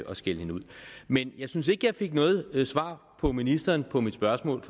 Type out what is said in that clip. og skælde hende ud men jeg synes ikke at jeg fik noget svar af ministeren på mit spørgsmål